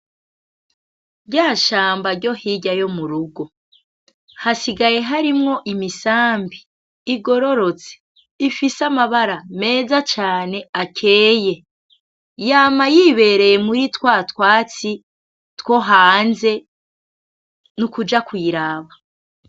Rya shamba ryo hirya yo mu rugo, hasigaye harimwo imisambi igororotse; ifise amabara meza cane akeye, yama yibereye muri twa twatsi two hanze, nukuja kuyiraba.